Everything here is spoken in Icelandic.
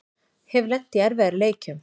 Hef lent í erfiðari leikjum